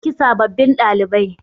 za a dauki sababbin ɗalibai